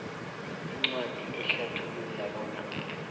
incwadi ehlathulula bona